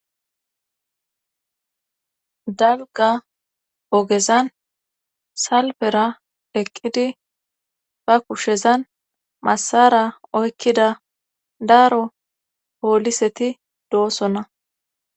Dabga ogezan salpera eqqidi ba kushezan masara oykkida daaro pooliseti doosonna